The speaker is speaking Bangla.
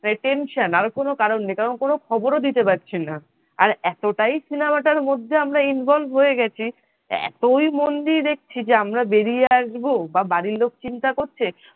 high tension আর কন কারন নাই কারন কোন খবরও দিতে পারছি না আর এতটাই cinema র মধ্যে আমরা involve হয়ে গেছি এতই মন দিয়ে দেখছি যে আমরা বেরিয়ে আসবো বাড়ির লোক চিন্তা করছে।